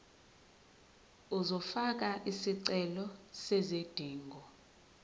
uzofaka isicelo sezidingo